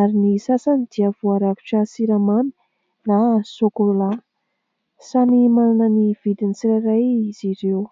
ary ny sasany dia voarakotra siramamy na sokola samy manana ny vidiny ny tsirairay izy ireo